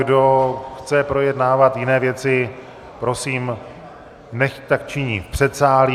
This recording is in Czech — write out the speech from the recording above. Kdo chce projednávat jiné věci, prosím, nechť tak činí v předsálí.